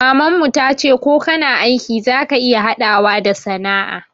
Maman mu ta ce ko kana aiki za ka iya haɗawa da sana'a